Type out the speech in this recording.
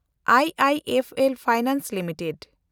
I I F L Finance limited